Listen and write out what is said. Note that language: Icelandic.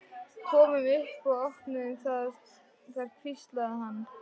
Komum upp og opnum það þar hvíslaði hann.